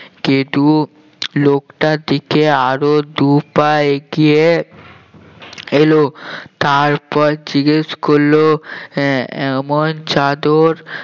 গেদু লোকটার দিকে আরো দুই পা এগিয়ে এল তারপর জিজ্ঞেস করলো আহ এমন চাদর